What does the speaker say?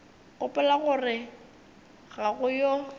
gopola gore ga go yo